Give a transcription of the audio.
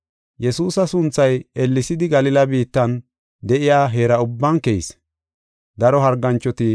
Yesuusa sunthay ellesidi Galila biittan de7iya heera ubban keyis.